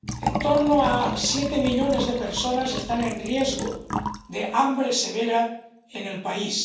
En torno a siete millones de personas están en riesgo de hambre severa en el país.